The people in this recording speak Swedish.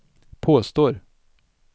påstår